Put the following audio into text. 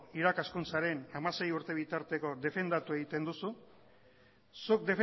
irakaskuntzaren hamasei urte bitarteko defendatu egiten duzu zuk